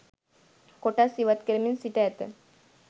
කොටස් ඉවත් කරමින් සිට ඇත